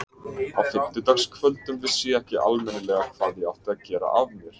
Á fimmtudagskvöldum vissi ég ekki almennilega hvað ég átti að gera af mér.